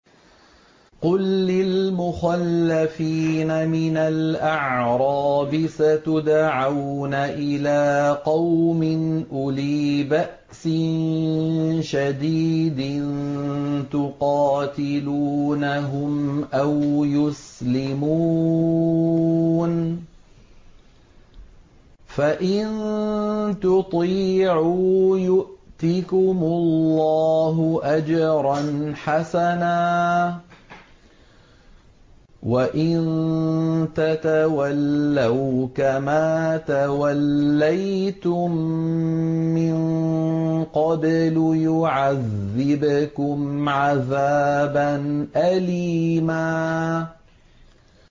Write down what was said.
قُل لِّلْمُخَلَّفِينَ مِنَ الْأَعْرَابِ سَتُدْعَوْنَ إِلَىٰ قَوْمٍ أُولِي بَأْسٍ شَدِيدٍ تُقَاتِلُونَهُمْ أَوْ يُسْلِمُونَ ۖ فَإِن تُطِيعُوا يُؤْتِكُمُ اللَّهُ أَجْرًا حَسَنًا ۖ وَإِن تَتَوَلَّوْا كَمَا تَوَلَّيْتُم مِّن قَبْلُ يُعَذِّبْكُمْ عَذَابًا أَلِيمًا